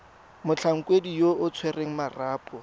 motlhankedi yo o tshwereng marapo